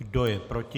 Kdo je proti?